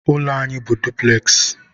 ụlọ anyị bụ dupules.